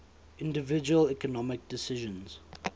individual economic decisions